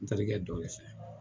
n terikɛ dɔ de fɛ.